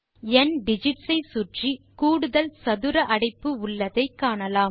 ந்திகிட்ஸ் ஐ சுற்றி கூடுதல் சதுர அடைப்பு உள்ளதை காணலாம்